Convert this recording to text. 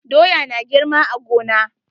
Doya na girma a gona.